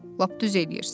Lap düz eləyirsiz.